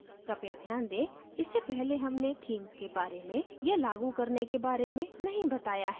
कृपया ध्यान दें इससे पहले हमने themes के बारे में या लागू करने के बारे में नहीं बताया है